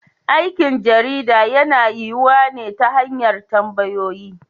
Aikin jarida yana yiyuwa ne ta hanyar tambayoyi.